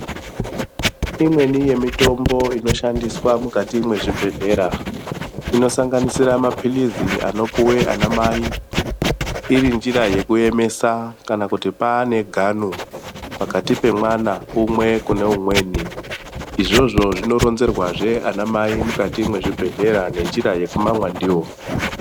Imweni yemitombo inoshandiswa mukati mwezvibhedhlera inosanganisire mapilisi anopiwe ana mai iri njira yekuemesa kana kuti paane gano pakati pemwana umwe kune umweni izvozvo zvinoronzerwazve ana mai mukati mwezvibhedhlera nenjira yekumamwa ndiyo.